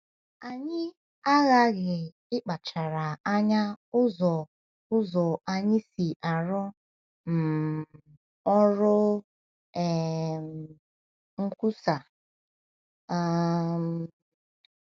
Anyị aghaghị ịkpachara anya ụzọ ụzọ anyị si arụ um ọrụ um nkwusa um.